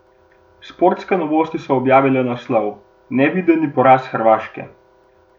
Sportske novosti so objavile naslov: "Nevideni poraz Hrvaške!